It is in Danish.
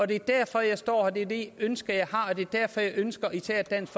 det er derfor jeg står her og det er det ønske jeg har og det er derfor jeg ønsker især dansk